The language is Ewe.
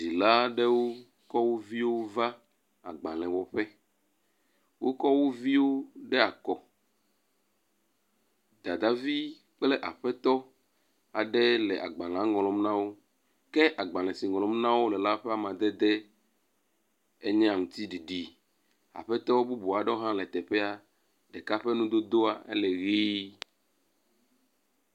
Dzila aɖewo kɔ wo viwo va agbale wɔƒe. Wokɔ wo viwo ɖe akɔ. Dadavi kple aƒetɔ aɖee le agbalea ŋlɔm na wo ke agbale si ŋlɔm na wo le la ƒe amadede enye aŋtiɖiɖi. Aƒetɔ bubu aɖewo hã le teƒea. Ɖeka ƒe nudodoa ele ʋi.